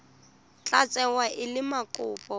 tla tsewa e le mokopa